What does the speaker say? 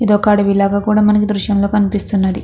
ఇది ఒక అడవి లాగా మనకు దృశ్యంలో లో కనిపిస్తుంది.